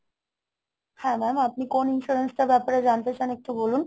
হ্যাঁ mam আপনি কোন insurance টার ব্যাপারে জানতে চান একটু বলুন।